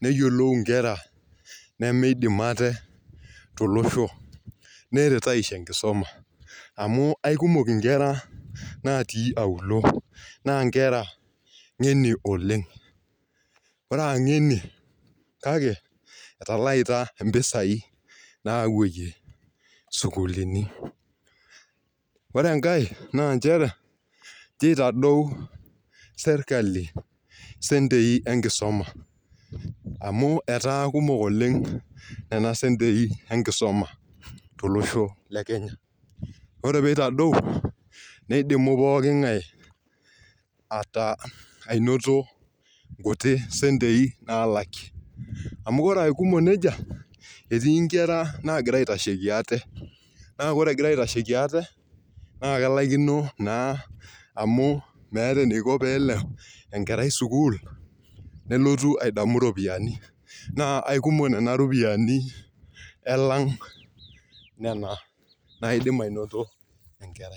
neyiolou nkera nemeidim ate, tolosho. neret aisho enkisuma. amu aikumok nkera, natii auluo. naa nkera ng'eni oleng. ore as ngeniy kake etalaita. mpisai naapuoyie. sukuulinj. ore enkae. naa nchere, nchoto eotasou serkali, sentii enkisuma. amu etaa kumok oleng Nena sentii enkisuma. tolosho le kenya. ore pee ieltadou neidim pookingae anoto sentii naalakie. amu ore aa kumok nejia. erii nkera naagira aitasheki ate naa kelaikino naa amu meeta eniko pee eleo enkerai sukuul nelotu aing'oru ropiyiani